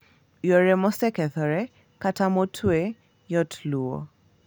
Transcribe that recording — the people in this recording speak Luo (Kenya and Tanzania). Yore mosekethore kata motwe yot luwo.